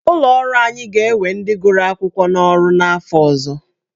Ụlọ ọrụ anyị ga-ewe ndị gụrụ akwụkwọ n'ọrụ n'afọ ọzọ.